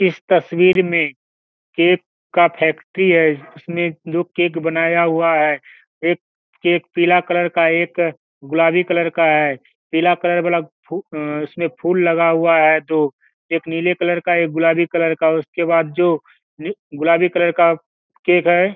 इस तस्वीर में केक का फैक्ट्री है इसमें दो केक बनाया हुआ है एक केक पीला कलर का है एक गुलाबी कलर का पीला कलर फु अ उसमें फूल लगा हुआ है दो एक नीले कलर का एक गुलाबी कलर का उसके बाद जो गुलाबी कलर का केक है।